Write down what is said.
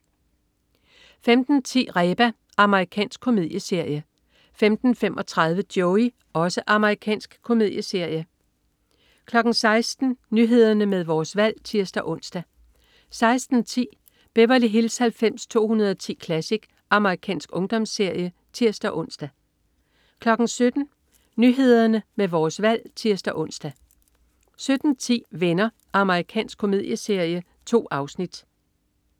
15.10 Reba. Amerikansk komedieserie 15.35 Joey. Amerikansk komedieserie 16.00 Nyhederne med Vores Valg (tirs-ons) 16.10 Beverly Hills 90210 Classic. Amerikansk ungdomsserie (tirs-ons) 17.00 Nyhederne med Vores Valg (tirs-ons) 17.10 Venner. Amerikansk komedieserie. 2 afsnit